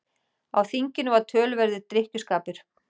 Á þinginu var töluverður drykkjuskapur.